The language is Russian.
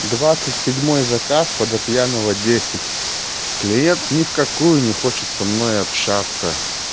двадцать седьмой заказ водопьянова десять клиент ни в какую не хочет со мной общаться